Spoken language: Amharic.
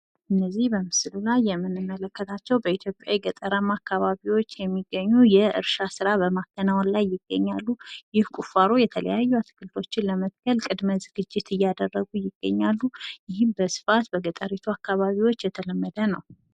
እነዚህ በምስሉ ላይ የምንመለከታቸው በኢትዮጵያ የገጠራማው አካባቢዎች የሚገኙ የእርሻ ስራ በማከናወን ላይ ይገኛሉ። ይህ ቁፋሮ የተለያዩ አትክልቶችን ለመትከል ቅድመ ዝግጅት እያደረጉ ይገኛሉ። ይህም በስፋት በገጠሪቱ አካባቢዎች የተለመደ ነው።